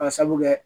Ka sabu kɛ